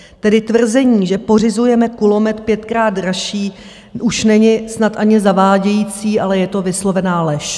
Tedy tvrzení, že pořizujeme kulomet pětkrát dražší, už není snad ani zavádějící, ale je to vyslovená lež.